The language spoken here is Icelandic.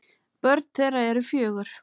Börn þeirra eru fjögur.